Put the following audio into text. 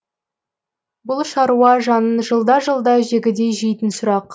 бұл шаруа жанын жылда жылда жегідей жейтін сұрақ